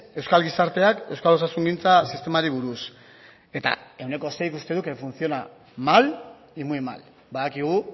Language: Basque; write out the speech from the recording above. euskal gizarteak euskal osasungintza sistemari buruz eta ehuneko seik uste du que funciona mal y muy mal badakigu